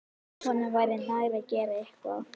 Honum væri nær að gera eitthvað.